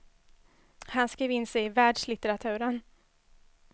Han skrev in sig i världslitteraturen.